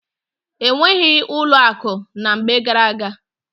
E nwebughị ụlọ akụ na mgbe gara-aga.